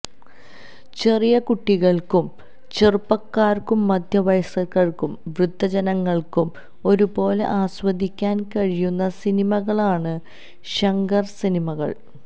ചെറിയ കുട്ടികള്ക്കും ചെറുപ്പക്കാര്ക്കും മധ്യവയസ്കര്ക്കും വൃദ്ധജനങ്ങള്ക്കും ഒരുപോലെ ആസ്വദിക്കാന് കഴിയുന്ന സിനിമകളാണ് ഷങ്കര് സിനിമകള്